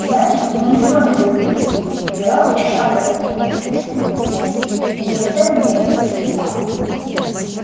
значит мы ничего не добились генерал с досадой откинулся на спинку кресла вы уже пять дней как здесь